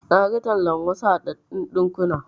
Naga tallar wasu haɗaɗɗun ɗinkuna.